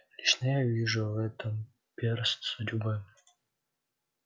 лично я вижу в этом перст судьбы